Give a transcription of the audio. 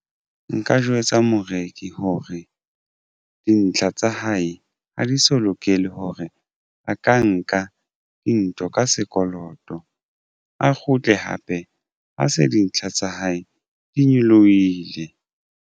Nka jwetsa moreki hore dintlha tsa hae ha di so lokele hore a ka nka dintho ka sekoloto a kgutle hape ha se dintlha tsa hae di nyolohile.